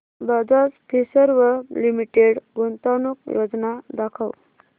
Bajaj Finserv limited गुंतवणूक योजना दाखव